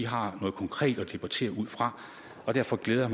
har noget konkret at debattere ud fra og derfor glæder